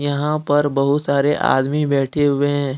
यहां पर बहुत सारे आदमी बैठे हुए हैं।